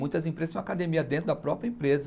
Muitas empresas tem uma academia dentro da própria empresa.